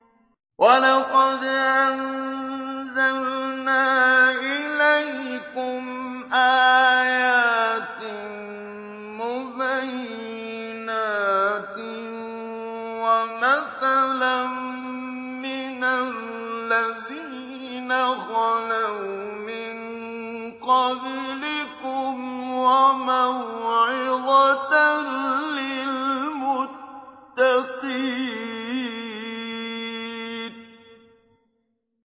وَلَقَدْ أَنزَلْنَا إِلَيْكُمْ آيَاتٍ مُّبَيِّنَاتٍ وَمَثَلًا مِّنَ الَّذِينَ خَلَوْا مِن قَبْلِكُمْ وَمَوْعِظَةً لِّلْمُتَّقِينَ